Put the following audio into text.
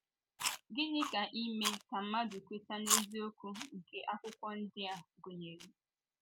Gịnị ka ime ka mmadụ kweta n’eziokwu nke Akwụkwọ ndi a gụnyere?